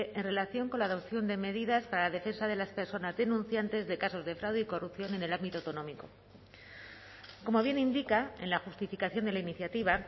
en relación con la adopción de medidas para la defensa de las personas denunciantes de casos de fraude y corrupción en el ámbito autonómico como bien indica en la justificación de la iniciativa